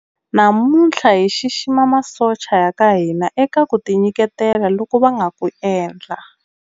Namuntlha hi xixima masocha ya ka hina eka ku tinyiketela loku va nga ku endla.